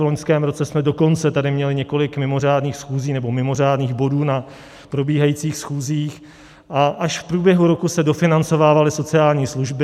V loňském roce jsme dokonce tady měli několik mimořádných schůzí, nebo mimořádných bodů na probíhajících schůzích, a až v průběhu roku se dofinancovávaly sociální služby.